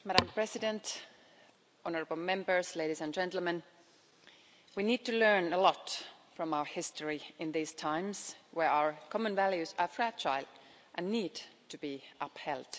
Madam President, honourable Members, ladies and gentlemen, we need to learn a lot from our history in these times where our common values are fragile and need to be upheld.